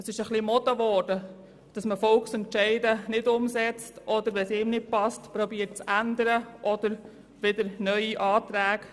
Es ist ein wenig in Mode gekommen, dass man Volksentscheide nicht umsetzt oder dass man sie, wenn sie einem nicht passen, abzuändern versucht oder wieder neue Anträge eingibt.